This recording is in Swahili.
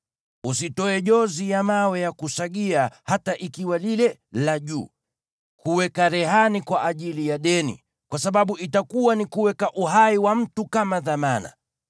Usitoe jozi ya mawe ya kusagia, hata ikiwa lile la juu, kuweka rehani kwa ajili ya deni, kwa sababu itakuwa ni kuweka uhai wa mtu kama dhamana.